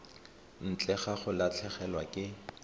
ntle ga go latlhegelwa ke